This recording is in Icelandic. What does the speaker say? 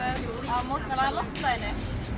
að mótmæla loftslaginu